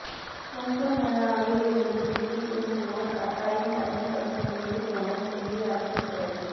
கும்பமேளாவில் இருந்து டெல்லி திரும்புவோா் கட்டாயம் தனிமைப்படுத்த வேண்டும் என டெல்லி அரசு உத்தரவு